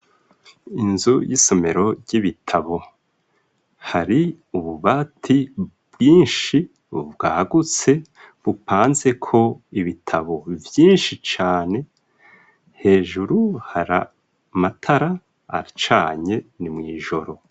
Inzu y'isomero ry'ibitabo, hari ububati bwinshi bwagutse bupanze ko ibitabo vyinshi cane, hejuru hari amatara acanye ni mw'ijoro.